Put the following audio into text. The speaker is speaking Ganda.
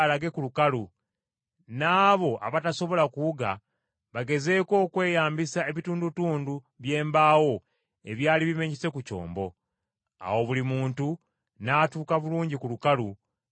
n’abo abatasobola kuwuga bagezeeko okweyambisa ebitundutundu by’embaawo ebyali bimenyese ku kyombo. Awo buli muntu n’atuuka bulungi ku lukalu nga taliiko kamogo.